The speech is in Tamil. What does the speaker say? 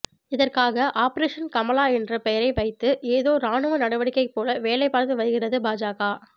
இதற்காக ஆபரேஷன் கமலா என்ற பெயரை வைத்து ஏதோ ராணுவ நடவடிக்கை போல வேலை பார்த்து வருகிறது பாஜக